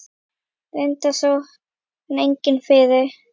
Reyndar sá hann enginn fyrir.